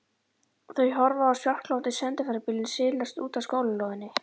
Þau horfa á svartgljáandi sendiferðabílinn silast út af skólalóðinni.